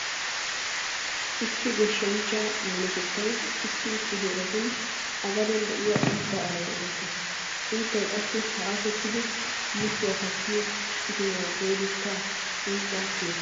Issi goshshanchchaa minotettayi issi issi heeratuun A gadeen de'iya uutta alaani erettees. Uuttay qassi haashettidi muchchuwa kattiyo itimaa goodetta uncca kiyees.